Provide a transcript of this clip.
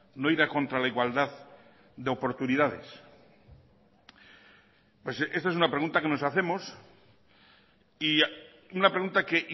no ira contra la igualdad de oportunidades pues esta es una pregunta que nos hacemos y una pregunta que